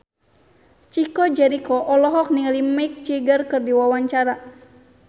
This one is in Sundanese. Chico Jericho olohok ningali Mick Jagger keur diwawancara